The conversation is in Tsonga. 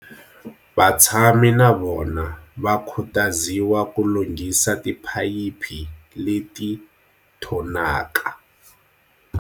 Vatshami na vona va khutaziwa ku lunghisa tiphayiphi leti thonaka.